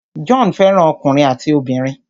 John fẹ́ràn ọkùnrin àti obìnrin.